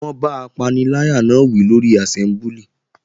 Wọ́n bá apaniláyà náà wí lórí àsẹ́mbúlì